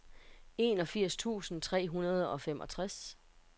enogfirs tusind tre hundrede og femogtres